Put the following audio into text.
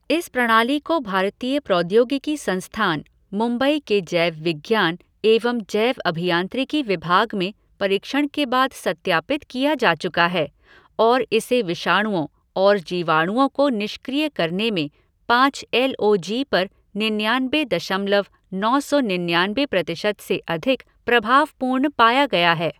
इस प्रणाली को भारतीय प्रौद्योगिकी संस्थान, मुंबई के जैवविज्ञान एवं जैवअभियांत्रिकी विभाग में परीक्षण के बाद सत्यापित किया जा चुका है और इसे विषाणुओं और जीवाणुओं को निष्क्रिय करने में पाँच एल ओ जी पर निन्यानबे दशमलव नौ सौ निन्यानबे प्रतिशत से अधिक प्रभावपूर्ण पाया गया है।